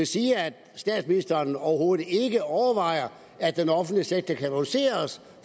sige at statsministeren overhovedet ikke overvejer at den offentlige sektor kan reduceres